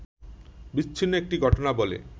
বিচ্ছিন্ন একটি ঘটনা বলে